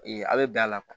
a bɛ bɛn a la kuwa